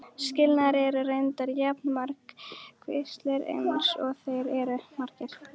Skilnaðir eru reyndar jafn margvíslegir eins og þeir eru margir.